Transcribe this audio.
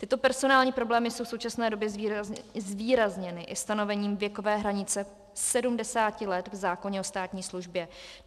Tyto personální problémy jsou v současné době zvýrazněny i stanovením věkové hranice 70 let v zákoně o státní službě.